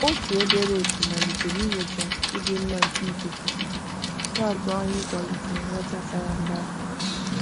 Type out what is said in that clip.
Otu obere otu malitere inyocha ịdị mma nke ikuku, na-atụ anya ịkwalite nghọta sara mbara.